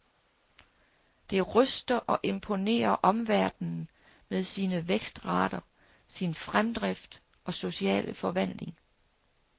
Det ryster og imponerer omverdenen med sine vækstrater, sin fremdrift og sociale forvandling.